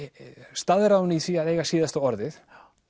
staðráðinn í því að eiga síðasta orðið